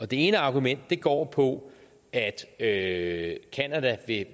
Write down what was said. det ene argument går på at at canada